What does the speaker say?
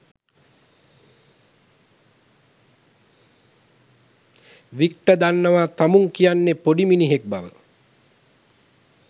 Victor දන්නවා තමුං කියන්නෙ පොඩි මිනිහෙක් බව.